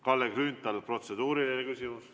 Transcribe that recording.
Kalle Grünthal, protseduuriline küsimus.